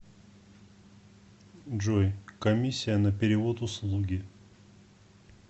джой комиссия на перевод услуги